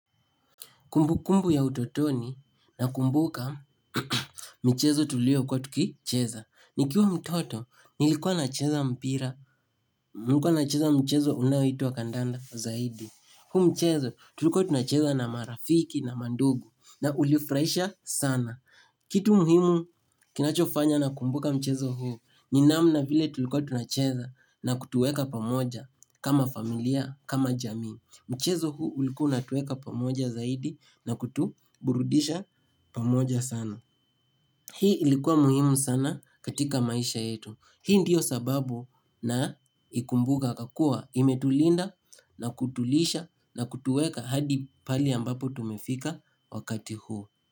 Kumbu kumbu ya utotoni na kumbuka michezo tuliyokuwa tukicheza. Nikiwa mtoto nilikuwa na cheza mpira, nilikuwa na cheza mchezo unaoitwa kandanda zaidi. Huu mchezo tulikuwa tunacheza na marafiki na mandugu na ulifurahisha sana. Kitu muhimu kinacho fanya nakumbuka mchezo huu ni namna vile tulikuwa tunacheza na kutuweka pamoja kama familia kama jamii. Mchezo huu ulikuwa unatuweka pamoja zaidi na kutuburudisha pamoja sana. Hii ilikuwa muhimu sana katika maisha yetu. Hii ndiyo sababu na naikumbua kwa kuwa imetulinda na kutulisha na kutuweka hadi pale ambapo tumefika wakati huu.